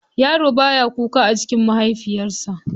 Yaro baya kuka a cikin mahaifiyarsa.